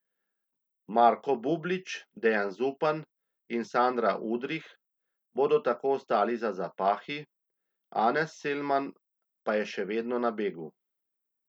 Marko Bublič, Dejan Zupan in Sandra Udrih bodo tako ostali za zapahi, Anes Selman pa je še vedno na begu.